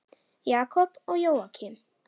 Jakob og Jóakim.